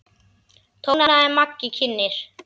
tónaði Maggi kynnir.